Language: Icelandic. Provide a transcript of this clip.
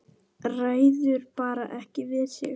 Ræður bara ekki við sig.